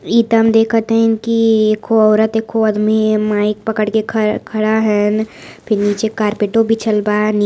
इ त हम देखत हइन की एको औरत एको आदमी ये माइक पकड़ के खड़ खड़ा हैंन फिर निचे कार्पेटो बिछल बा। नि --